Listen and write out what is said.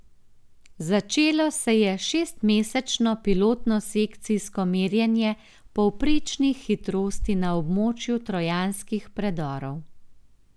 Začelo se je šestmesečno pilotno sekcijsko merjenje povprečnih hitrosti na območju trojanskih predorov.